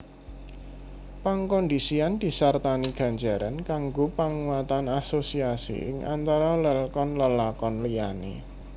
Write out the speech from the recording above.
Pangkondhisian disartani ganjaran kanggo panguatan asosiasi ing antara lelkon lelakon liyané